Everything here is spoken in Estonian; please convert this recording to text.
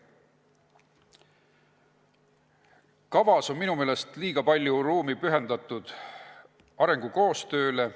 Selles arengukavas on minu meelest liiga palju ruumi pühendatud arengukoostööle.